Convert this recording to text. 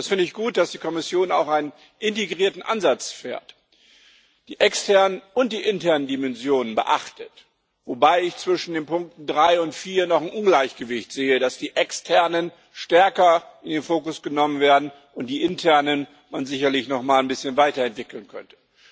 Ich finde gut, dass die Kommission auch einen integrierten Ansatz fährt, die externen und die internen Dimensionen beachtet, wobei ich zwischen den Punkten drei und vier noch ein Ungleichgewicht sehe, dass die externen stärker in den Fokus genommen werden und man die internen sicherlich noch mal ein bisschen weiterentwickeln könnte.